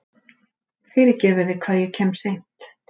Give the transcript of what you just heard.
Fyrirgefiði hvað ég kem seint.